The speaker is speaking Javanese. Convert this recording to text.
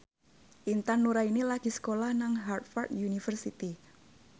Intan Nuraini lagi sekolah nang Harvard university